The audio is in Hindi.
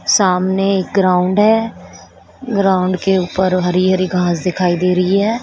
सामने एक ग्राउंड है ग्राउंड के ऊपर हरि हरि घास दिखाई दे रही है।